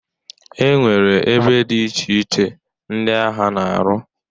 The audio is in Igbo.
E nwere ebe dị iche iche ndị agha na-arụ.